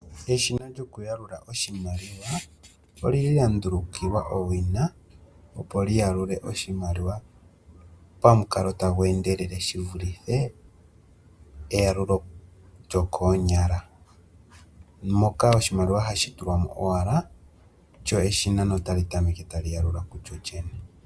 Eshina lyoku yalula oshimaliwa oli li lya ndulukiwa owina opo li yalule oshimaliwa pamukalo tagu endele shivulithe eya lulo lyokoonyala. Oshimaliwa ohashi tulwamo owala lyo eshina otali tameke tali yalula kulyo lyene.